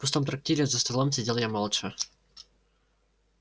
в пустом трактире за столом сидел я молча